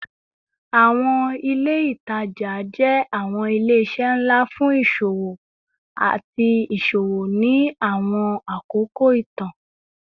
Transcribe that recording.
Awọn ile itaja jẹ awọn ile-iṣẹ nla fun iṣowo ati iṣowo ni awọn akoko itan